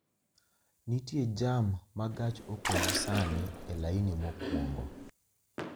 nitie jam ma gach okolosani e laini mokwongo